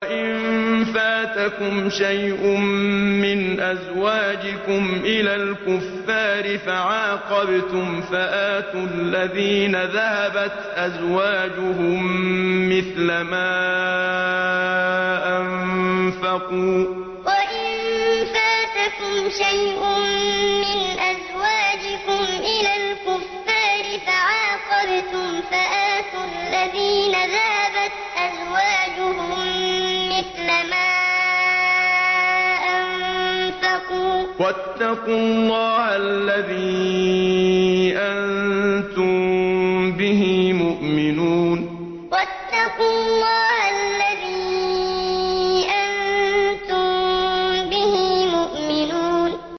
وَإِن فَاتَكُمْ شَيْءٌ مِّنْ أَزْوَاجِكُمْ إِلَى الْكُفَّارِ فَعَاقَبْتُمْ فَآتُوا الَّذِينَ ذَهَبَتْ أَزْوَاجُهُم مِّثْلَ مَا أَنفَقُوا ۚ وَاتَّقُوا اللَّهَ الَّذِي أَنتُم بِهِ مُؤْمِنُونَ وَإِن فَاتَكُمْ شَيْءٌ مِّنْ أَزْوَاجِكُمْ إِلَى الْكُفَّارِ فَعَاقَبْتُمْ فَآتُوا الَّذِينَ ذَهَبَتْ أَزْوَاجُهُم مِّثْلَ مَا أَنفَقُوا ۚ وَاتَّقُوا اللَّهَ الَّذِي أَنتُم بِهِ مُؤْمِنُونَ